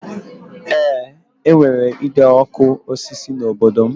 Eé, e nwere ide ọkụ osisi n'obodo m